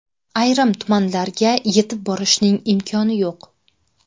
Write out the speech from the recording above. Ayrim tumanlarga yetib borishning imkoni yo‘q.